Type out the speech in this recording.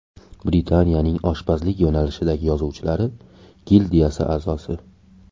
Britaniyaning oshpazlik yo‘nalishidagi yozuvchilari gildiyasi a’zosi.